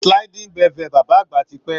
Sliding bevel bàbá àgbà ti pẹ́.